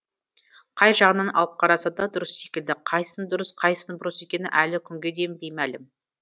қай жағынан алып қараса да дұрыс секілді қайсының дұрыс қайсының бұрыс екені әлі күнге дейін беймәлім